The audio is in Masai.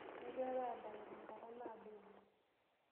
Igirara aadayu te nkata naado oleng.